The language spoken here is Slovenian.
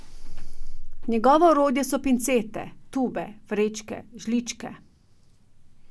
Njegovo orodje so pincete, tube, vrečke, žličke.